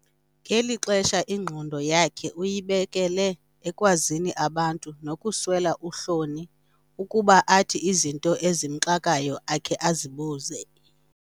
Ngeli xesha ingqondo yakhe uyibekele ekwazini abantu nokuswela uhloni ukuba athi izinto ezimxakayo akhe azibuze.